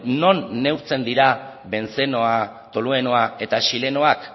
non neurtzen dira bentzenoa toluenoa eta xilenoak